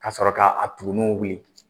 Ka sɔrɔ ka a tuguniw wuli.